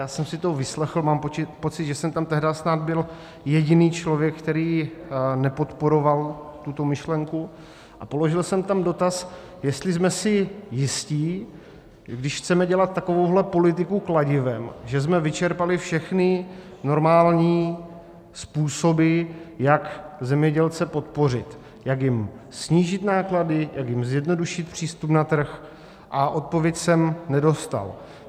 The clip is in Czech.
Já jsem si to vyslechl, mám pocit, že jsem tam tehdy snad byl jediný člověk, který nepodporoval tuto myšlenku, a položil jsem tam dotaz, jestli jsme si jistí, když chceme dělat takovouhle politiku kladivem, že jsme vyčerpali všechny normální způsoby, jak zemědělce podpořit, jak jim snížit náklady, jak jim zjednodušit přístup na trh, a odpověď jsem nedostal.